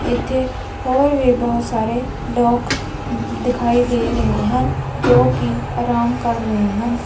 ਇੱਥੇ ਔਰ ਵੀ ਬਹੁਤ ਸਾਰੇ ਲੋਕ ਦਿਖਾਈ ਦੇ ਰਹੇ ਹੈ ਜੋ ਕਿ ਆਰਾਮ ਕਰ ਰਹੇ ਹਨ।